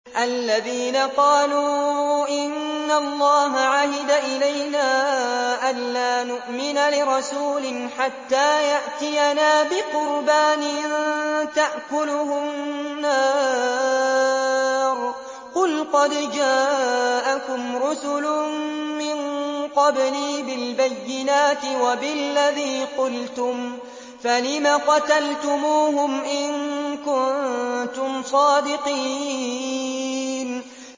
الَّذِينَ قَالُوا إِنَّ اللَّهَ عَهِدَ إِلَيْنَا أَلَّا نُؤْمِنَ لِرَسُولٍ حَتَّىٰ يَأْتِيَنَا بِقُرْبَانٍ تَأْكُلُهُ النَّارُ ۗ قُلْ قَدْ جَاءَكُمْ رُسُلٌ مِّن قَبْلِي بِالْبَيِّنَاتِ وَبِالَّذِي قُلْتُمْ فَلِمَ قَتَلْتُمُوهُمْ إِن كُنتُمْ صَادِقِينَ